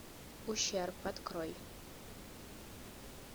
ущерб открой